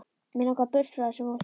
Mig langar burt frá þessu fólki.